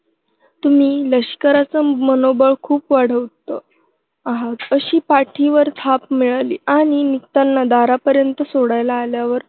तुम्ही लष्कराचं मनोबळ खूप वाढवत आहात. अशी पाठीवर थाप मिळाली आणि निघताना दारापर्यंत सोडायला आल्यावर